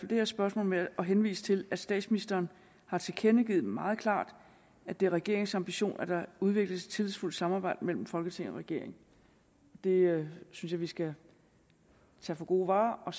det her spørgsmål med at henvise til at statsministeren har tilkendegivet meget klart at det er regeringens ambition at der udvikles et tillidsfuldt samarbejde mellem folketing og regering det synes jeg vi skal tage for gode varer og